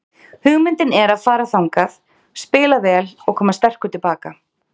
Hugmyndin er að fara þangað, spila vel og koma sterkur til baka.